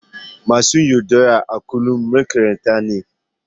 Masu yaudara a kullum maƙaryata ne.